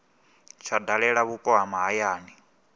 tsha dalela vhupo ha mahayani